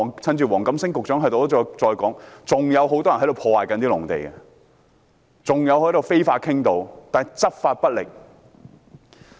趁着黃錦星局長在席，我重申一點，現時仍有很多人在破壞農地，還有非法傾倒活動，但當局執法不力。